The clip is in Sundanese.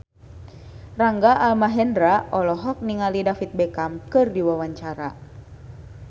Rangga Almahendra olohok ningali David Beckham keur diwawancara